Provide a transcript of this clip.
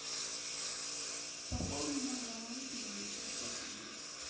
пополни мой баланс на пятьдесят рублей